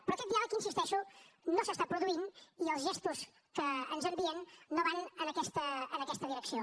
però aquest diàleg hi insisteixo no s’està produint i els gestos que ens envien no van en aquesta direcció